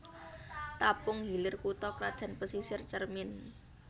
Tapung Hilir kutha krajan Pasisir Cermin